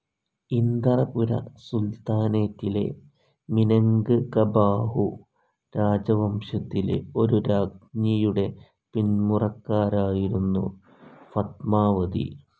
Inderapura സുൽത്താനേറ്റിലെ മിനങ്ക്കബാഹു രാജവംശത്തിലെ ഒരു രാജ്ഞിയുടെ പിന്മുറക്കാരായിരുന്നു ഫത്മാവതി.